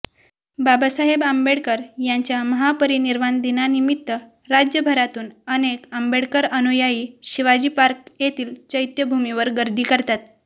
बाबासाहेब आंबेडकर यांच्या महापरिनिर्वाण दिनानिमित्त राज्यभरातून अनेक आंबेडकर अनुयायी शिवाजी पार्क येथील चैत्यभूमीवर गर्दी करतात